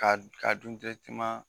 K'a ka dun